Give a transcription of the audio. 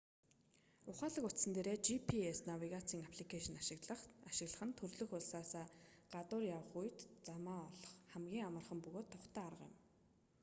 ухаалаг утсан дээрээ gps навигацийн апликэйшн ашиглах нь төрөлх улсаасаа гадуур явах үед замаа олох хамгийн амархан бөгөөд тухтай арга юм